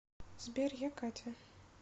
сбер я катя